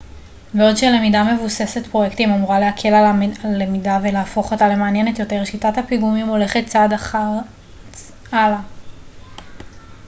בעוד שלמידה מבוססת פרויקטים אמורה להקל על הלמידה ולהפוך אותה למעניינת יותר שיטת הפיגומים הולכת צעד אחד הלאה